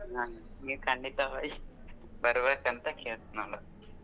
ನಿ ಖಂಡಿತವಾಗಿ ಬರಬೇಕ್ ಅಂತ ಕೇಳ್ತಿನನು.